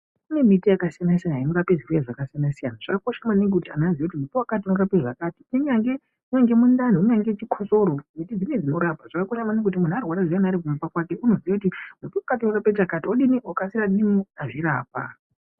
Kune miti yakasiyanasiyana inorape zvirwere zvakasiyanasiyana zvakakosha maningi kuti anhu aziye kuti muti wakati unorape zvakati kunyange mundani ,kunyange chikosoro ,miti dzimweni dzinorapa zvakakosha maningi kuti munhu arwara ari kumba kwake iunoziye kuti muti wakati unorape chakati okasira adini, azvirapa.